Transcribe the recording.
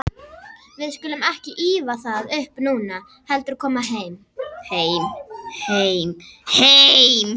Við skulum ekki ýfa það upp núna, heldur koma heim.